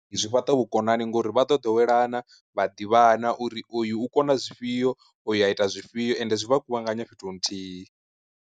Zwi fhaṱa vhukonani ngori vha ḓo ḓowelana vha ḓivhana uri oyu u kona zwifhio oyu a ita zwifhio, ende zwi vha kuvhanganya fhethu hu nthihi.